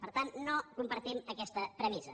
per tant no compartim aquesta premissa